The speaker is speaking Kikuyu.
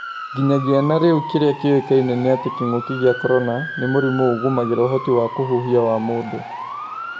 Nginyagia na rĩu kĩrĩa kĩũĩkaine nĩ atĩ kĩng'ũki gĩa korona, nĩ mũrimũ ũgũmagĩra ũhoti wa kũhuhia wa mũndũ.